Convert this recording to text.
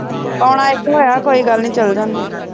ਕੌਣ ਆਇਆ ਕੋਈ ਗੱਲ ਨੀ ਚੱਲ ਜਾਨੇ